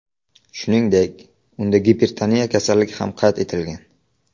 Shuningdek, unda gipertoniya kasalligi ham qayd etilgan.